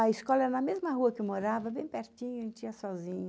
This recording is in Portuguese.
A escola é na mesma rua que eu morava, bem pertinho, a gente ia sozinha.